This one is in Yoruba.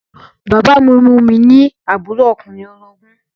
Bàbá mi mú mi ní àbúrò ọkùnrin orogún